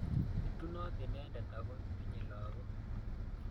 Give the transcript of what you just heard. Itunot inendet ako tinyei lagok